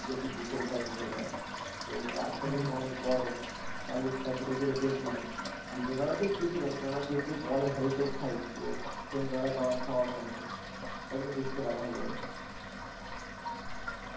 এইযে একটু ভূতের ভয় ভূতের ভয় তো church টা যে তোমার এত বড় চারিদিকটা ঘুরে ঘুরে দেখলাম দিনের বেলাতে গিয়োছলাম কেননা যেহেতু বলে heritage site তো সন্ধ্যেবেলা যাওয়ার সাহস হয়নি তা তুমি ঘুরতে পারো ভালো করে